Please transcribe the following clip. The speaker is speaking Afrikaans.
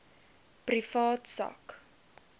privaat sak